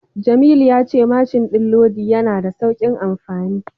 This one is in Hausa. Jamilu ya ce mashin din lodi yana da saukin amfani.